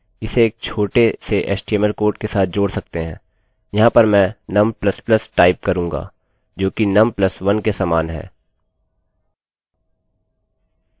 यहाँ पर मैं num++ टाइप करूँगी जोकि num +1 के समान है